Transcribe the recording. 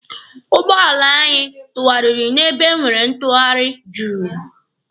Ụgbọala anyị tụarịrị n'ebe e nwere ntụarị Juu.